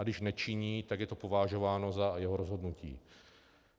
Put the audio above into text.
A když nečiní, tak je to považováno za jeho rozhodnutí.